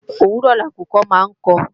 òwúrọ̀ lakùkọ máa ń kọ